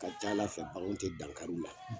Ka ca Ala fɛ baganw tɛ dankari u la